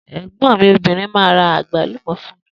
Egbòn mi obìnrin máa ra àgbálùmò fún mi.